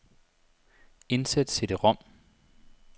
Indsæt cd-rom.